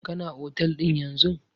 Kana otel ɗin yanzun?